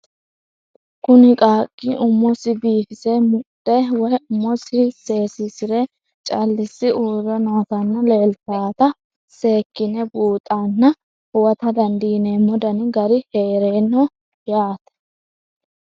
Kuni qaqi umosi bifise muxe woyi umosi sesisire calisi uure nootana leelanta seekine buuxana huwata dandinemo Dani gari heerano yaate?